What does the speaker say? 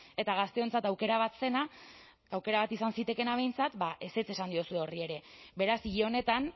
eta gazteentzat aukera bat zena aukera bat izan zitekeena behintzat ba ezetz esan diozue horri ere beraz hil honetan